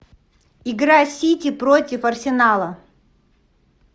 игра сити против арсенала